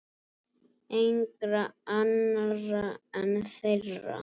Engra annarra en þeirra.